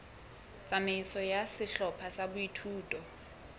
tsamaiso ya sehlopha sa boithuto